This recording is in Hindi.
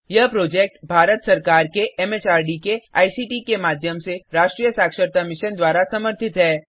यह प्रोजेक्ट भारत सरकार के एमएचआरडी के आईसीटी के माध्यम से राष्ट्रीय साक्षरता मिशन द्वारा समर्थित है